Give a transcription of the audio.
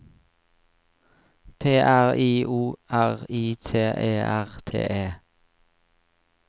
P R I O R I T E R T E